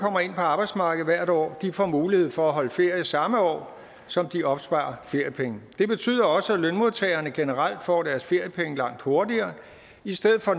kommer ind på arbejdsmarkedet hvert år får mulighed for at holde ferie i samme år som de opsparer feriepenge i det betyder også at lønmodtagerne generelt får deres feriepenge langt hurtigere i stedet for